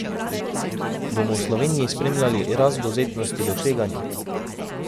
Bomo v Sloveniji spremljali rast dovzetnosti do tveganja?